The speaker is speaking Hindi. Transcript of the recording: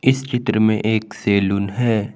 इस चित्र में एक सैलून है।